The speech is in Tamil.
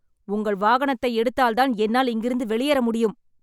உங்கள் வாகனத்தை எடுத்தால் தான் என்னால் இங்கிருந்து வெளியேற முடியும்